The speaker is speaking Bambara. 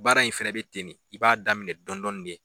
Baara in fɛnɛ bɛ ten de i b'a daminɛ dɔɔnin-dɔɔnin de